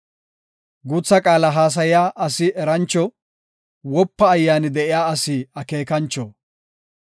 Guutha qaala haasaya asi erancho; wopa ayyaani de7iya asi akeekancho.